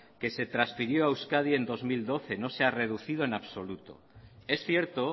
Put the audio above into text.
que se transfirió a euskadi en dos mil doce no se ha reducido en absoluto es cierto